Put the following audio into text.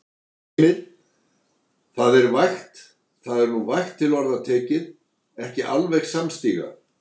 Heimir: Það er vægt, það er nú vægt til orða tekið, ekki alveg samstíga?